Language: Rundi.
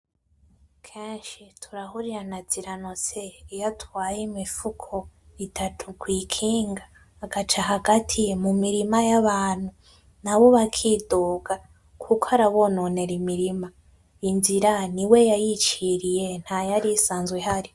keshi turahurira na Ziranotse iyo atwaye imifuko itatu kw’ikinga agaca hagati mu mirima y’abantu nabo bakidoga kuko arabononera imirima inzira niwe yayiciriye ntayarisanzwe ihari.